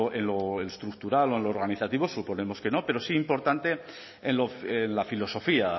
en lo estructural o en lo organizativo suponemos que no pero sí importante en la filosofía